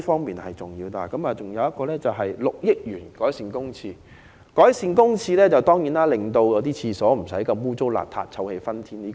此外，政府計劃撥款6億元改善公廁衞生，令公廁不再骯髒不堪和臭氣熏天。